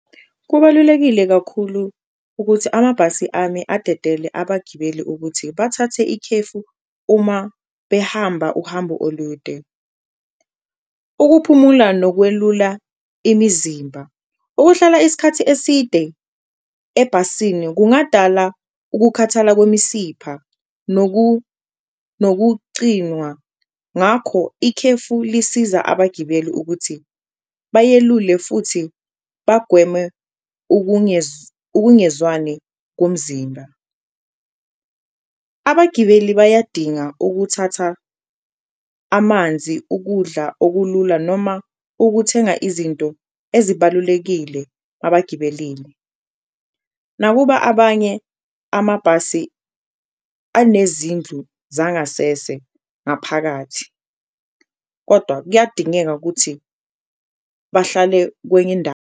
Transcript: Kubalulekile kakhulu ukuthi amabhasi ame adedele abagibeli ukuthi bathathe ikhefu uma behamba uhambo olude. Ukuphumula lokwelula imizimba, ukuhlala isikhathi eside ebhasini kungadala ukukhathala kwemisipha nokucinwa, ngakho ikhefu lisiza abagibeli ukuthi bayelule futhi bagwemwe ukungezwani komzimba. Abagibeli bayadinga ukuthatha amanzi, ukudla okulula noma ukuthenga izinto ezibalulekile abagibelile, nakuba abanye amabhasi anezindlu zangasese ngaphakathi kodwa kuyadingeka ukuthi bahlale kweny'indawo.